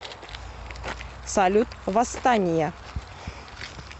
салют восстания